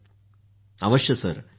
डॉ० शशांकः हां सर